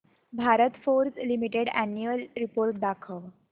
Bharat Forge Limited annual report दाखव